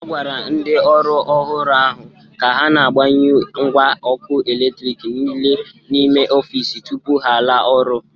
A gwara ndị ọrụ ọhụrụ ahụ ka ha na-,agbanyụ ngwa ọkụ eletriki niile n'ime ọfịs tụpụ ha ala ọrụ.